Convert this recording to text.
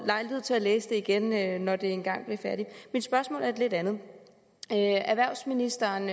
lejlighed til at læse det igen når det engang bliver færdigt mit spørgsmål er et lidt andet erhvervsministeren